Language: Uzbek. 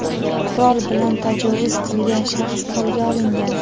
Qurol bilan tajovuz qilgan shaxs qo‘lga olingan.